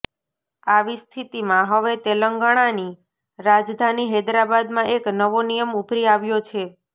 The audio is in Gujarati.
આવી સ્થિતિમાં હવે તેલંગાણાની રાજધાની હૈદરાબાદમાં એક નવો નિયમ ઉભરી આવ્યો છે